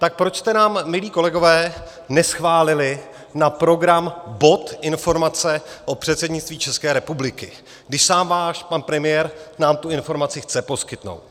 Tak proč jste nám, milí kolegové, neschválili na program bod informace o předsednictví České republiky, když sám váš pan premiér nám tu informaci chce poskytnout.